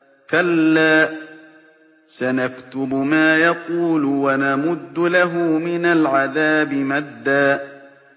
كَلَّا ۚ سَنَكْتُبُ مَا يَقُولُ وَنَمُدُّ لَهُ مِنَ الْعَذَابِ مَدًّا